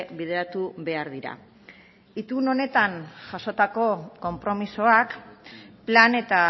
bideratu behar dira itun honetan jasotako konpromisoak plan eta